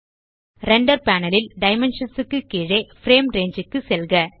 render panel ல் dimensions க்கு கீழே பிரேம் ரங்கே க்கு செல்க